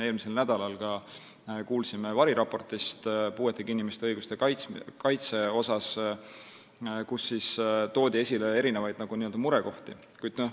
Eelmisel nädalal kuulsime variraportist puuetega inimeste õiguste kaitse kohta, kus toodi esile murekohti.